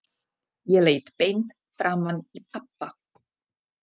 Ég leit beint framan í pabba.